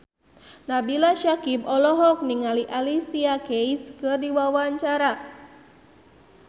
Nabila Syakieb olohok ningali Alicia Keys keur diwawancara